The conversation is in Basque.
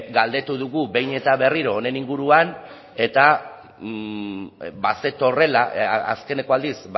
galdetu dugu behin eta berriro honen inguruan eta bazetorrela azkeneko aldiz